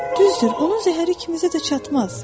Düzdür, onun zəhəri kimisə də çatmaz.